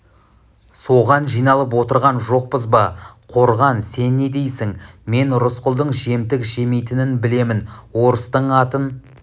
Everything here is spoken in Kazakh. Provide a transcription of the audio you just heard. соған жиналып отырған жоқпыз ба қорған сен не дейсің мен рысқұлдың жемтік жемейтінін білемін орыстың атын